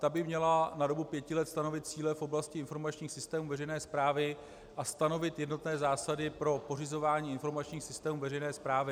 Ta by měla na dobu pěti let stanovit cíle v oblasti informačních systémů veřejné správy a stanovit jednotné zásady pro pořizování informačních systémů veřejné správy.